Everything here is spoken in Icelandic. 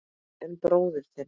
En bróðir þinn.